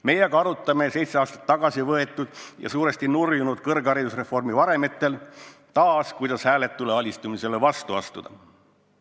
Meie aga arutame seitse aastat tagasi tehtud ja suuresti nurjunud kõrgharidusreformi varemetel taas, kuidas hääletule alistumisele vastu astuda.